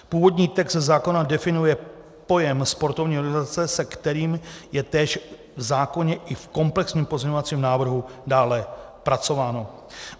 Původní text zákona definuje pojem sportovní organizace, se kterým je též v zákoně i v komplexním pozměňovacím návrhu dále pracováno.